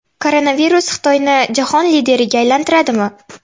Koronavirus Xitoyni jahon lideriga aylantiradimi?